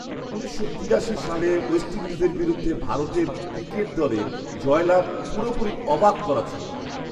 উনিশশো তিরাশি সালে ওয়েস্ট ইণ্ডিজের বিরুদ্ধে ভারতের ক্রিকেট দলের জয়লাভ পুরোপুরি অবাক করা ছিল!